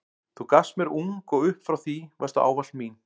Þú gafst mér ung og upp frá því varstu ávallt mín.